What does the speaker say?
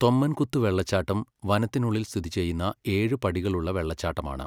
തൊമ്മൻകുത്ത് വെള്ളച്ചാട്ടം വനത്തിനുള്ളിൽ സ്ഥിതി ചെയ്യുന്ന ഏഴ് പടികളുള്ള വെള്ളച്ചാട്ടമാണ്.